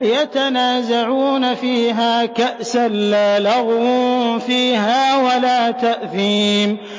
يَتَنَازَعُونَ فِيهَا كَأْسًا لَّا لَغْوٌ فِيهَا وَلَا تَأْثِيمٌ